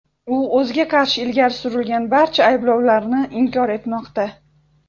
U o‘ziga qarshi ilgari surilgan barcha ayblovlarni inkor etmoqda.